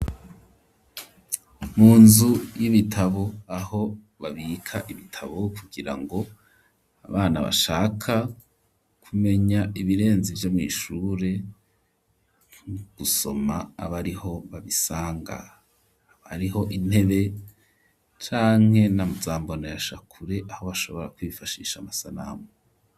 Mu nzu y'ibitabo aho babika ibitabo kugirango abana bashaka ku menya ibirenze ivyo mw'ishure gusoma abariho babisanga hariho intebe canke na zambonesha kure aho bashobora kwifashisha amasanamu.